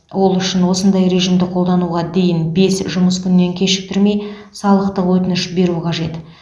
ол үшін осындай режимді қолдануға дейін бес жұмыс күнінен кешіктірмей салықтық өтініш беру қажет